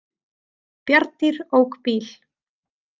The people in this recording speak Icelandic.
Bjarndýr ók bíl